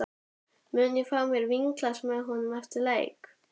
Mun ég fá mér vínglas með honum eftir leik?